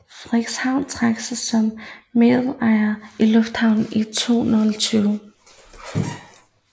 Frederikshavn trak sig som medejer af lufthavnen i 2012